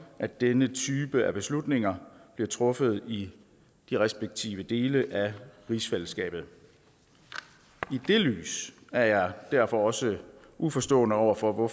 at denne type af beslutninger bliver truffet i de respektive dele af rigsfællesskabet i det lys er jeg derfor også uforstående over for at